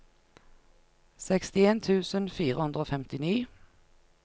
sekstien tusen fire hundre og femtini